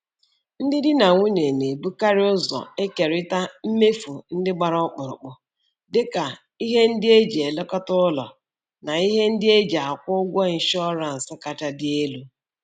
Ndị di na nwunye na-ebukarị ụzọ ekerita mmefu ndị gbara ọkpụkpụ, dịka ihe ndị e ji elekọta ụlọ na ihe ndị e ji akwụ ụgwọ ịnshọransị kacha dị elu.